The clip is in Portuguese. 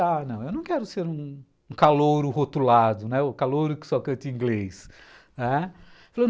Ah, não, eu não quero ser um calouro rotulado, né, o calouro que só canta em inglês, né.